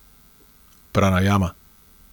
Pranajama.